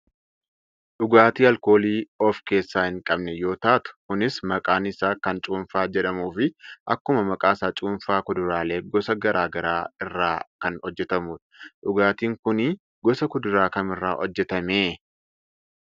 Dhugaatii aalkoolii of keessaa hin qabne yoo taatu kunis maqaan isaa kan cuunfaa jedhamuufi akkuma maqaasaa cuunfaa kuduraalee gosa gara garaa irraa kan hojjatamudha. Dhugaatiin kuni gosa kuduraa kamiirraa hojjatame?